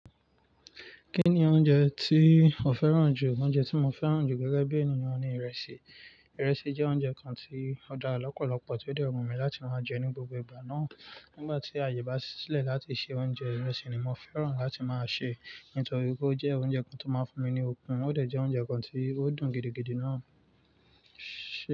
Kí ni oúnjẹ tí o fẹ́ràn jù? Oúnjẹ tí mo fẹ́ràn jù gẹ́gẹ́ bí ènìyàn ni ìrẹsì. Ìrẹsì jẹ́ oúnjẹ kan tí ó dára lọ́pọ̀lọpọ̀, tó dẹ wu mi láti máa jẹ ní gbogbo ìgbà náà. Nígbà tí àyè bá ṣílẹ̀ láti ṣe oúnjẹ, ìrẹsì ni mo fẹ́ràn láti máa sè, nítorí pé ó jẹ́ oúnjẹ kan tó máa ń fún mi ní okun, ó dẹ̀ jẹ́ oúnjẹ kan tí ó dùn gidigidi náà.